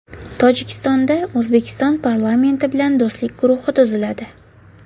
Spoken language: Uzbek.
Tojikistonda O‘zbekiston parlamenti bilan do‘stlik guruhi tuziladi.